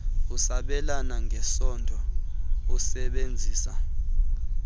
usabelana ngesondo usebenzisa